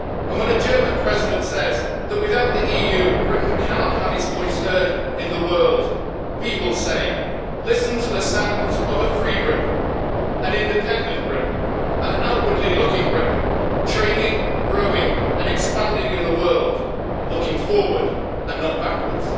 When a German President says that without the EU, Britain cannot have its voice heard in the world, we will say listen to the sounds of a free Britain, an independent Britain, an outwardly looking Britain, trading, growing and expanding in the world, looking forward and not backwards.